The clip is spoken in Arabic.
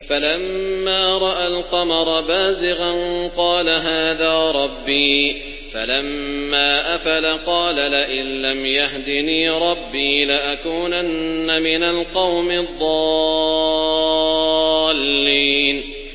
فَلَمَّا رَأَى الْقَمَرَ بَازِغًا قَالَ هَٰذَا رَبِّي ۖ فَلَمَّا أَفَلَ قَالَ لَئِن لَّمْ يَهْدِنِي رَبِّي لَأَكُونَنَّ مِنَ الْقَوْمِ الضَّالِّينَ